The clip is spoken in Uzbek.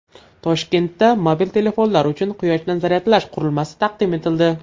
Toshkentda mobil telefonlar uchun quyoshdan zaryadlash qurilmasi taqdim etildi.